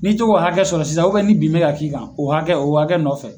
N'i to k'o hakɛ sɔrɔ sisan ni bin bɛ ka k'i kan o hakɛ o hakɛ nɔfɛ.